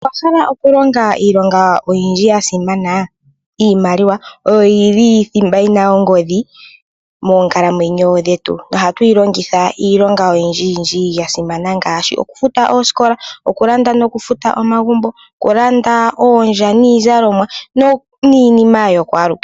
Owa hala oku longa iilonga oyindji yasimana? Iimaliwa oyo yili thimba yina ongodhi moonkalamwenyo dhetu. Nohatu yi longitha iilonga oyindji yindji yasimana. Ngaashi oku futa oosikola, oku landa noku futa omagumbo, okulanda oondja niizalomwa niinima yokwalu kehe.